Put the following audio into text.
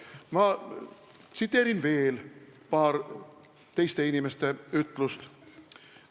Ma tsiteerin veel paari ütlust.